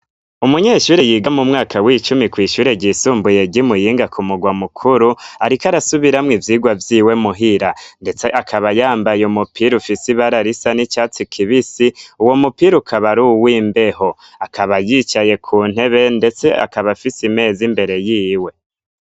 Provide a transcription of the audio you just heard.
Umunyeshuri yiga mu mwaka w'icumi kw'ishure ryisumbuye rimuyinga ku murwa mukuru, ariko arasubiramwo ivyigwa vyiwe muhira, ndetse akaba yambaye umupira ufise i bararisa n'i catsi kibisi uwo mupira ukaba ari uw’ imbeho, akaba yicaye ku ntebe, ndetse akaba afise imezi imbere yiwe.